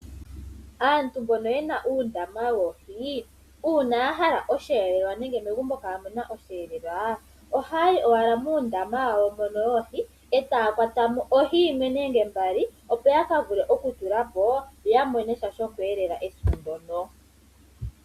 Aantu mboka yena uundama woohi, uuna yahala oshiyelelwa nenge megumbo kamuna oshiyelelwa, ohaya yi owala moondama dhawo dhono dhoohi etaya kwatamo ohi yimwe nenge mbali opo yakavule okutulapo yo yamone sha shoku yelela ethimbo ndyoka.